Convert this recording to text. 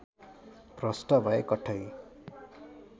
भ्रष्ट भए कठै